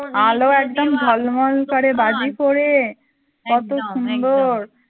এল একদম ঝলমল করে বাজি পোড়ে কতো সুন্দর